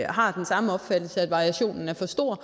har den samme opfattelse af at variationen er for stor